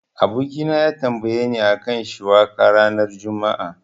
Abokina ya tambayeni a kan shiwaka ranar juma'a.